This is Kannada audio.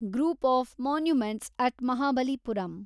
group of monuments at Mahabalipuram